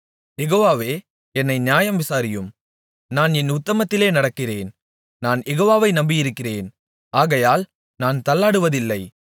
யெகோவாவே என்னை நியாயம் விசாரியும் நான் என் உத்தமத்திலே நடக்கிறேன் நான் யெகோவாவை நம்பியிருக்கிறேன் ஆகையால் நான் தள்ளாடுவதில்லை